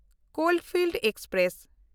coalfield express